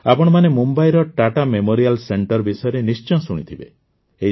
ଆପଣମାନେ ମୁମ୍ବାଇର Tata Memorial Centre ବିଷୟରେ ନିଶ୍ଚୟ ଶୁଣିଥିବେ